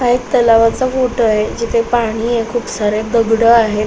हा एक तलावाचा फोटो आहे जिथे पाणीय खूप सारे दगड आहेत.